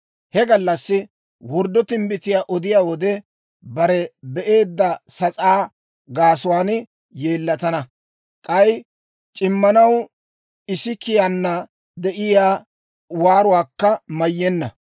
He gallassi worddo timbbitiyaa odiyaa wode, bare be'eedda sas'aa gaasuwaan yeellatana; k'ay c'immanaw isikiyaana de'iyaa waaruwaakka mayyenna.